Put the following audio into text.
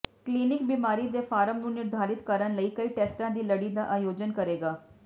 clinic ਬਿਮਾਰੀ ਦੇ form ਨੂੰ ਨਿਰਧਾਰਤ ਕਰਨ ਲਈ ਕਈ ਟੈਸਟਾਂ ਦੀ ਲੜੀ ਦਾ ਆਯੋਜਨ ਕਰੇਗਾ